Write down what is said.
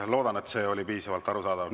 Loodan, et see oli piisavalt arusaadav.